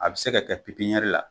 A bi se k'a kɛ la